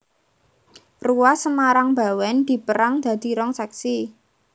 Ruas Semarang Bawèn dipérang dadi rong sèksi